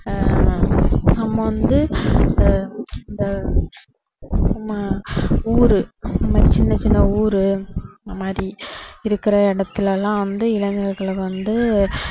ஆஹ் நம்ம வந்து ஆஹ் இந்த நம்ம ஊரு நம்ம சின்ன சின்ன ஊரு அந்த மாதிரி இருக்குற இடத்துல எல்லாம் வந்து இளைஞர்கள் வந்து